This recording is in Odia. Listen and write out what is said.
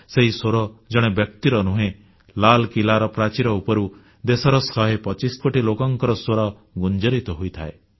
ସେହି ସ୍ୱର ଜଣେ ବ୍ୟକ୍ତିର ନୁହେଁ ଲାଲକିଲ୍ଲାର ପ୍ରାଚୀର ଉପରୁ ଦେଶର ଶହେ ପଚିଶ କୋଟି ଲୋକଙ୍କ ସ୍ୱର ଗୁଞ୍ଜରିତ ହୋଇଥାଏ